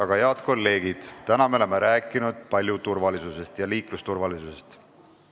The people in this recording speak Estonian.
Aga, head kolleegid, täna me oleme palju rääkinud turvalisusest ja liiklusturvalisusest.